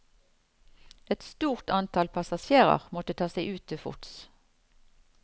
Et stort antall passasjerer måtte ta seg ut til fots.